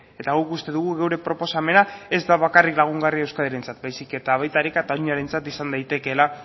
eta guk uste dugu gure proposamena ez da bakarrik lagungarria euskadirentzat baizik ere baita ere kataluniarentzat izan daitekela